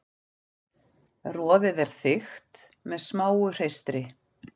Roðið er þykkt með smáu hreistri.